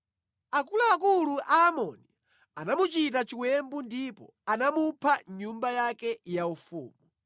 Akuluakulu a Amoni anamuchita chiwembu ndipo anamupha mʼnyumba yake yaufumu.